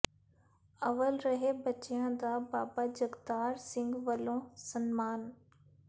ਅੱਵਲ ਰਹੇ ਬੱਚਿਆਂ ਦਾ ਬਾਬਾ ਜਗਤਾਰ ਸਿੰਘ ਵੱਲੋਂ ਸਨਮਾਨ